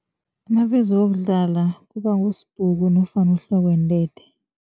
Nabezokudlala kubangusibhugu nofana uhlokwentethe.